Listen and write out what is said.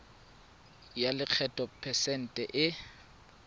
ya lekgetho phesente e